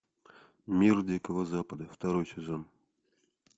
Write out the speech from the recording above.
мир дикого запада второй сезон